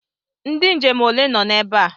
Ndị nje m ole nọ ebe a?